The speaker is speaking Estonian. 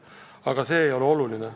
Aga see ei ole justkui oluline.